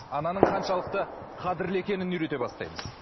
ананың қаншалықты қадірлі екенін үйрете бастаймыз